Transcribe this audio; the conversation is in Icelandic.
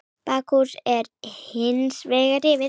Bakhús er hins vegar rifið.